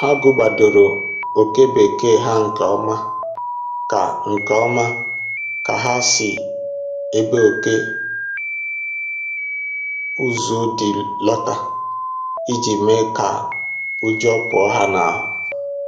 Ha gụgbadoro oke bekee ha nke ọma ka nke ọma ka ha si ebe oke ụzụ dị lọta iji mee ka ụjọ pụọ ya n'ahụ